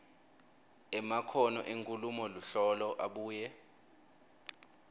emakhono enkhulumoluhlolo abuye